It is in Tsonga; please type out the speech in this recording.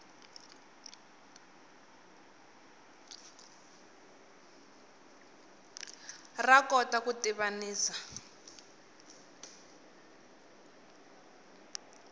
ra kota ku tivanisa